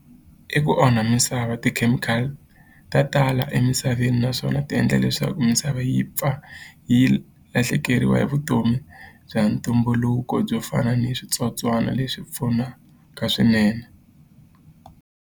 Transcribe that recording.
I ku onha misava ti-chemical ta tala emisaveni naswona ti endla leswaku misava yi pfa yi lahlekeriwa hi vutomi bya ntumbuluko byo fana ni switsotswana leswi pfunaka swinene.